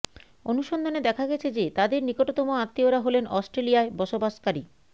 অনুসন্ধানে দেখা গেছে যে তাদের নিকটতম আত্মীয়রা হলেন অস্ট্রেলিয়ায় বসবাসকারী